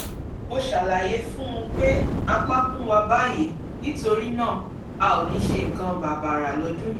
mo ṣàlàyé fún un pé apákún wa báyìí nítorí náà a ò ní ṣe nǹkan bàbàrà lọ́dún yìí